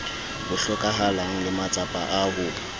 hlokahalang le matsapa a ho